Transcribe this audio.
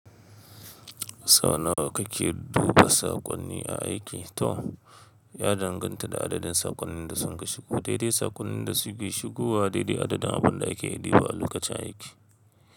Sau nawa kake duba saƙonni a aiki, Tom? Ya danganta da adadin saƙonnin da sun kashigo. Daidai saƙonnin da suke shigowa daidai adadin abin da ake iya ɗiba a lokacin aiki.